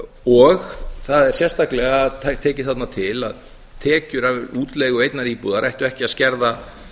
og það er sérstaklega tekið þarna til að tekjur af útleigu einnar íbúðar ættu ekki að skerða